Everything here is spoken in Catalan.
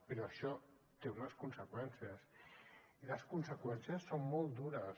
però això té unes conseqüències i les conseqüències són molt dures